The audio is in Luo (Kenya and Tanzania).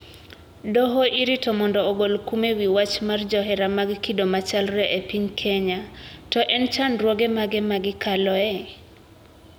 Doho irito mondo ogol kum e wi wach mar johera mag kido machalre e piny Kenya: To en chandruoge mage ma gikaloe?